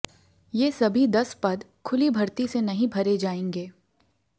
ये सभी दस पद खुली भर्ती से नहीं भरे जाएंगे